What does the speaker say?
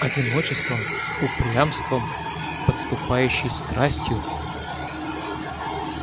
одиночеством упрямством подступающей страстью